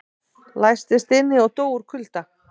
Læstist inni og dó úr kulda